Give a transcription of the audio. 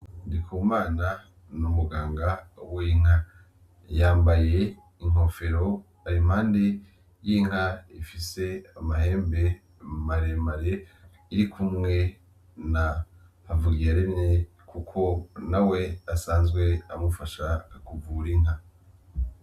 Ndikumana ni umuganga w'inka yambaye inkofero ari impande y'inka ifise amahembe maremare iri kumwe na havugiyaremye kuko nawe asanzwe amufasha kuvura inka